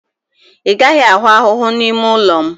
Ị gaghị ahụ ahụhụ n'ime ụlọ m